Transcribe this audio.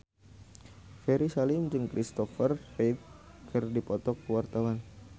Ferry Salim jeung Christopher Reeve keur dipoto ku wartawan